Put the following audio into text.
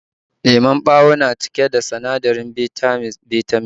Lemon ɓawo na cike da sinadarin Bitamin C